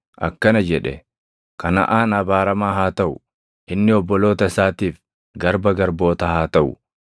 akkana jedhe; “Kanaʼaan abaaramaa haa taʼu! Inni obboloota isaatiif garba garbootaa haa taʼu.”